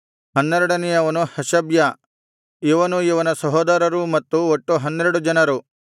ಹನ್ನೆರಡನೆಯವನು ಹಷಬ್ಯ ಇವನೂ ಇವನ ಸಹೋದರರೂ ಮಕ್ಕಳು ಒಟ್ಟು ಹನ್ನೆರಡು ಜನರು